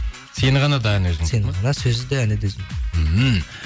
сені ғана да әні өзіңдікі ма сөзі де әні де өзімдікі ммм